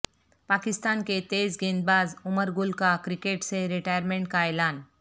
پاکستان کے تیزگیندباز عمر گل کا کرکٹ سے ریٹائرمنٹ کا اعلان